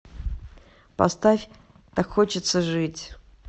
поставь так хочется жить